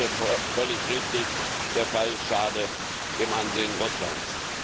Er erklärte völlig richtig, der Fall schade dem Ansehen Russlands.